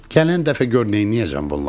Gələn dəfə gör nəyləyəcəm bunları.